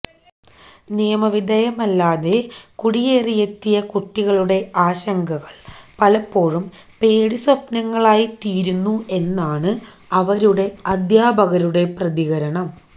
നിയമ വിധേയമല്ലാതെ കുടിയേറിയെത്തിയ കുട്ടികളുടെ ആശങ്കകള് പലപ്പോഴും പേടി സ്വപ്നങ്ങളായി തീരുന്നു എന്നാണ് അവരുടെ അധ്യാപകരുടെ പ്രതികരണം